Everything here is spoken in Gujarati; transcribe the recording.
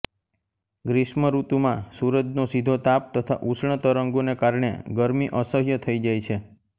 ગ્રીષ્મ ઋતુમાં સૂરજનો સીધો તાપ તથા ઉષ્ણ તરંગોંને કારણે ગરમી અસહ્ય થઈ જાય છે